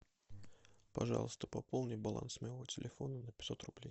пожалуйста пополни баланс моего телефона на пятьсот рублей